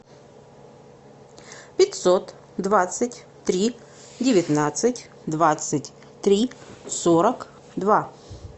пятьсот двадцать три девятнадцать двадцать три сорок два